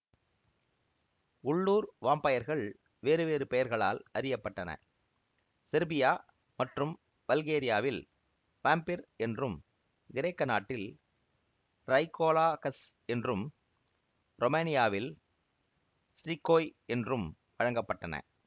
உள்ளுர் வாம்பயர்கள் வேறு வேறு பெயர்களால அறிய பட்டன செர்பியா மற்றும் பல்கேரியாவில் வாம்பிர் என்றும் கிரேக்க நாட்டில் ரைகோலாகஸ் என்றும் ரொமேனியாவில் ஸ்ட்ரிகோய் என்றும் வழங்க பட்டன